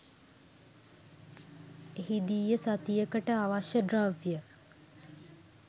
එහිදීය සතියකට අවශ්‍ය ද්‍රව්‍ය